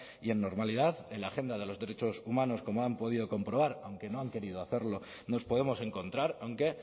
y en normalidad en la agenda de los derechos humanos como han podido comprobar aunque no han querido hacerlo nos podemos encontrar aunque